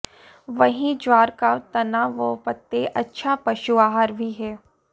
वहीं ज्वार का तना व पत्ते अच्छा पशुआहार भी हैं